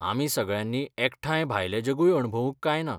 आमी सगळ्यांनी एकठांय भायलें जगूय अणभवूंक काय ना?